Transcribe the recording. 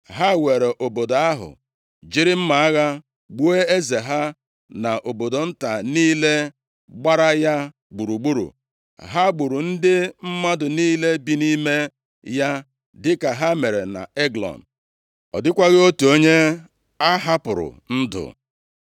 Ha weere obodo ahụ, jiri mma agha gbuo eze ha, na obodo nta niile gbara ya gburugburu. Ha gburu ndị mmadụ niile bi nʼime ya dịka ha mere nʼEglọn. Ọ dịkwaghị otu onye a hapụrụ ndụ.